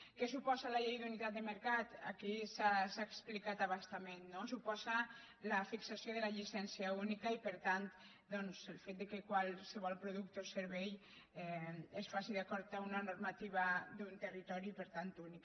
què suposa la llei d’unitat de mercat aquí s’ha explicat a bastament no suposa la fixació de la llicència única i per tant doncs el fet que qualsevol producte o servei es faci d’acord amb una normativa d’un territori per tant únic